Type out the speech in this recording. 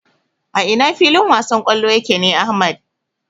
A ina filin wasan kwallo yake ne Ahmad?